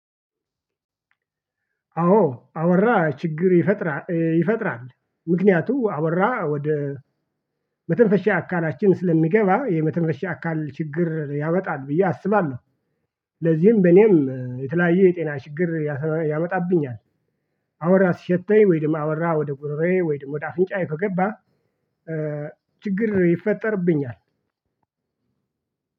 አዎ አወራ ችግር ይፈጥራል ይፈጥራል። ምክንያቱም አወራ ወደ መተንፈሻ አካላችን ስለሚገባ የመተንፈሻ አካል ችግር ያመጣል ብዬ አስባለሁ። ለዚህም በኔም የተለያየ የጤና ችግር ያመጣብኛል። አወራ ሲሸተኝ ወይም አወራ ወደ ጉሮሮዬ ወይም ወደ አፍንጫዬ ከገባ ችግር ይፈጠረብኛል።